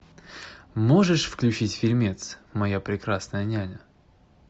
можешь включить фильмец моя прекрасная няня